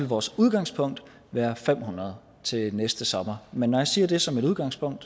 vores udgangspunkt være fem hundrede til næste sommer men når jeg siger at det er som udgangspunkt